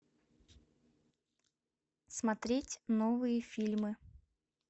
смотреть новые фильмы